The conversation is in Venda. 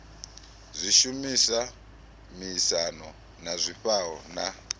zwishumiswa miaisano na zwifhao na